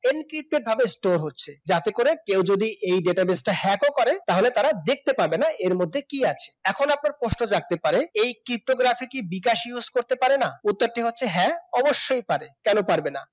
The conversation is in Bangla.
ইন্কিতভাবে store হচ্ছে যাতে করে কেউ যদি এই database টা hack ও করে তাহলে তারা দেখতে পাবে না এর মধ্যে কি আছে? এখন আপনার প্রশ্ন জাগতে পারে এই ptocurrency কি বিকাশ use করতে পারেনা উত্তরটি হচ্ছে হ্যাঁ অবশ্যই পারে কেন পারবে না